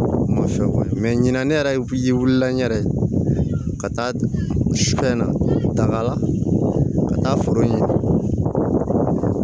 ɲina ne yɛrɛ wulila ne yɛrɛ ye ka taa sufɛ na daga la ka taa foro ɲɛ